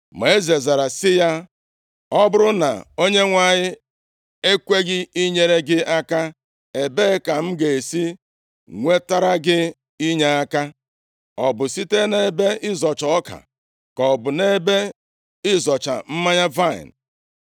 Ma eze zara sị ya, “Ọ bụrụ na Onyenwe anyị ekweghị inyere gị aka, ebee ka m ga-esi nwetara gị inyeaka? Ọ bụ site nʼebe ịzọcha ọka? Ka ọ bụ nʼebe ịzọcha mmanya vaịnị?”